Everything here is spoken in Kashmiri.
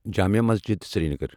جامیہ مسجد سرینگر